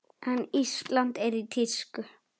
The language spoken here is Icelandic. En Ísland er í tísku.